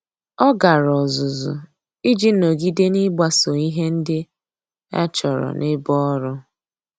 Ọ́ gàrà ọ́zụ́zụ́ iji nọ́gídé n’ị́gbàsò ihe ndị e chọ́rọ́ n’ebe ọ́rụ́.